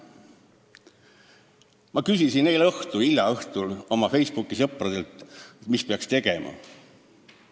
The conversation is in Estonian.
Ma küsisin eile õhtul hilja oma Facebooki sõpradelt, mida peaks tegema.